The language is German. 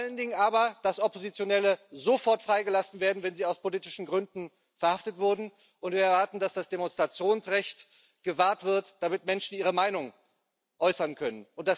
vor allen Dingen aber, dass Oppositionelle sofort freigelassen werden, wenn sie aus politischen Gründen verhaftet wurden, und wir erwarten, dass das Demonstrationsrecht gewahrt wird, damit Menschen ihre Meinung äußern können.